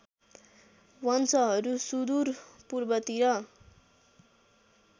वंशहरू सुदूर पूर्वतिर